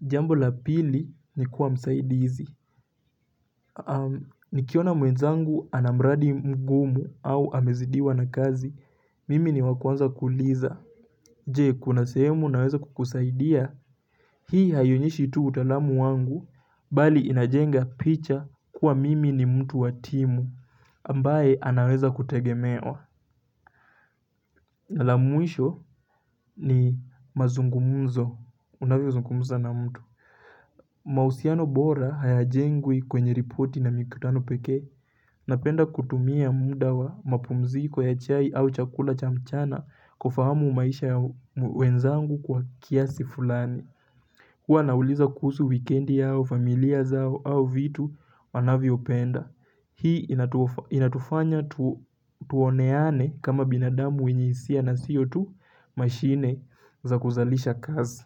Jambo la pili ni kuwa msaidizi. Nikiona mwenzangu ana mradi mgumu au amezidiwa na kazi mimi ni wa kuanza kuuliza Je, kuna sehemu naweza kukusaidia? Hii haionyeshi tu utaalamu wangu, bali inajenga picha kuwa mimi ni mtu wa timu, ambaye anaweza kutegemewa. Na la mwisho ni mazungumzo, unavyozungumza na mtu. Mahusiano bora hayajengwi kwenye ripoti na mikutano pekee, napenda kutumia muda wa mapumziko ya chai au chakula cha mchana kufahamu maisha ya wenzangu kwa kiasi fulani. Huwa nauliza kuhusu, wikendi yao, familia zao au vitu wanavyopenda. Hii inatufanya tuoneane kama binadamu wenye hisia na sio tu mashine za kuzalisha kazi.